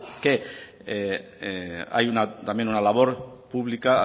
que hay también una labor pública